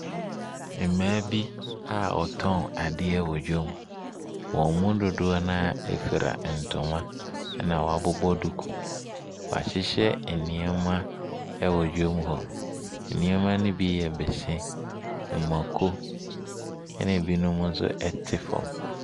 Mmaa bi a ɔtɔn adeɛ wɔ dwom. Wɔn mu dodoɔ naa efra ntoma ɛna wabobɔ duku. Wahyehyɛ ɛnneɛma ɛwɔ dwom hɔ. Nneɛma no bi yɛ bese, mɔko, ɛna ebinom ɛnso ɛte fam.